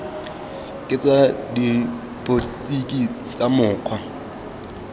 ke tsa dipotsiso tsa mokgwa